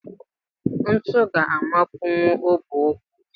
Ntu ga-amapunwu ọbụ ụkwụ